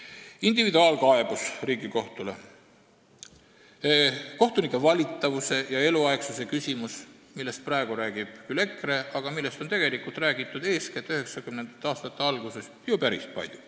Edasi, individuaalkaebus Riigikohtule, kohtunike valitavuse ja eluaegsuse küsimus, millest praegu räägib küll EKRE, aga millest on tegelikult räägitud juba 1990. aastate algusest peale päris palju.